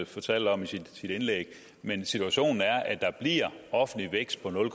fortalte om i sit indlæg men situationen er at der bliver offentlig vækst på nul